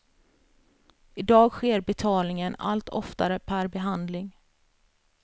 I dag sker betalningen allt oftare per behandling.